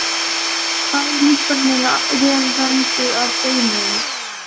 Bæði líffærin eru vel vernduð af beinum.